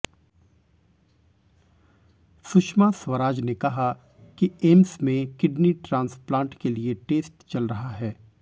सुषमा स्वराज ने कहा कि एम्स में किडनी ट्रांसप्लांट के लिए टेस्ट चल रहा है